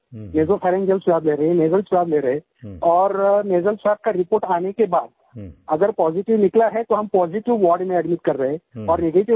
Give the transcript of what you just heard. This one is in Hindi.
ये जो ओरोफैरिंजियल स्वाब ले रहे हैं नसल स्वाब ले रहे हैं और नसल स्वाब का रिपोर्ट आने के बाद अगर पॉजिटिव निकला है तो हम पॉजिटिव वार्ड में एडमिट कर रहें हैं